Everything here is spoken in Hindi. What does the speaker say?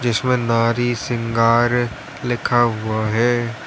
जिसमें नारी शृंगार लिखा हुआ है।